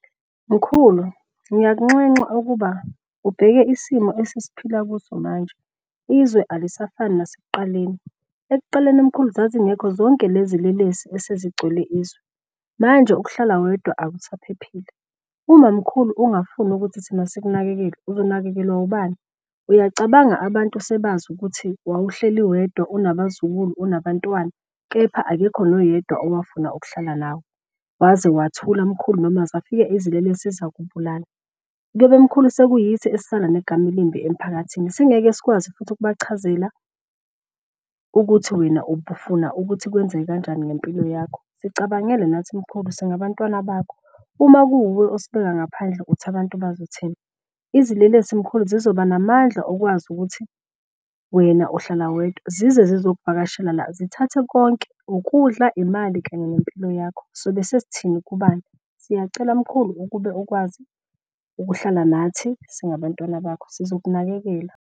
Mkhulu ngiyakunxenxa ukuba ubheke isimo esesiphila kuso manje. Izwe alisafani nasekuqaleni, ekuqaleni mkhulu zazingekho zonke lezi lelesi esezigcwele izwe, manje ukuhlala wedwa akusaphephile. Uma mkhulu ungafuni ukuthi thina sikunakekele uzonakekelwa ubani? Uyacabanga abantu sebazi ukuthi wawuhleli wedwa unabazukulu, unabantwana kepha akekho noyedwa owafuna ukuhlala nawe waze wathula mkhulu noma zafika izilelesi zakubulala. Kuyobe mkhulu sekuyithi esesisala negama elimbi emphakathini. Singeke sikwazi futhi ukubachazela ukuthi wena ubufuna ukuthi kwenzeke kanjani ngempilo yakho, sicabangele nathi mkhulu singabantwana bakho. Uma kuwuwe osibeka ngaphandle uthi abantu bazothini? Izilelesi mkhulu zizoba namandla okwazi ukuthi wena uhlala wedwa zize zizokuvakashela la zithathe konke ukudla, imali kanye nempilo yakho sobe sesithini kubani? Siyacela mkhulu ukube ukwazi ukuhlala nathi singabantwana bakho sizokunakekela.